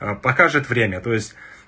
аа покажет время то есть